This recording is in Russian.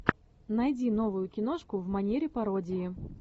найди новую киношку в манере пародии